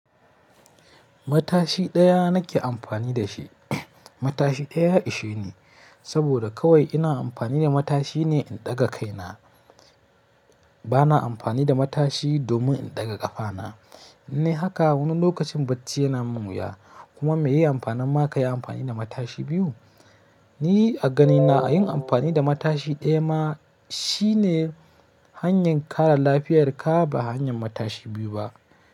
Matashi ɗaya nake amfani dashi. Matashi ɗaya ya isheni ne haka wani lokacin bacci yana munwuya, kuma mai yi amfani ma ka yi amfani da matashi biyu. Ni a ganina yin amfani da matashi ɗaya ma shine hanyar kare lafiyarka ba hanyar matashi biyu ba.